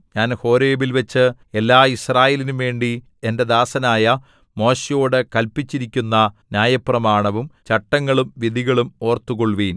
ഞാൻ ഹോരേബിൽവച്ച് എല്ലാ യിസ്രായേലിനുംവേണ്ടി എന്റെ ദാസനായ മോശെയോടു കല്പിച്ചിരിക്കുന്ന ന്യായപ്രമാണവും ചട്ടങ്ങളും വിധികളും ഓർത്തുകൊള്ളുവിൻ